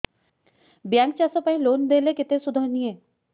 bank ଚାଷ ପାଇଁ loan ଦେଲେ କେତେ ସୁଧ ନିଏ